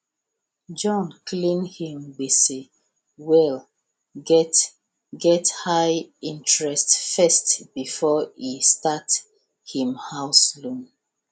john clear him gbese wey get get high interest first before e even start him house loan